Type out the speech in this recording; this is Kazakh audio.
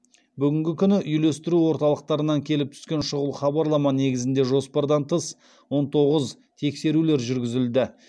бүгінгі күні үйлестіру орталықтарынан келіп түскен шұғыл хабарлама негізінде жоспардан тыс он тоғыз тексерулер жүргізілді